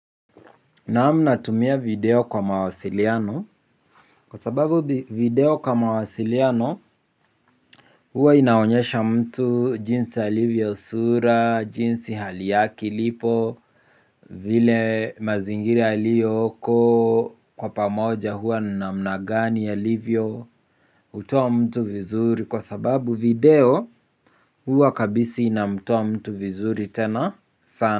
Naam natumia video kwa mawasiliano. Kwa sababu video kwa mawasiliano huwa inaonyesha mtu jinsi alivyo sura, jinsi hali yake ilipo. Vile mazingira aliyoko kwa pamoja huwa namna gani alivyo hutoa mtu vizuri kwa sababu video huwa kabisi inamtoa mtu vizuri tena sana.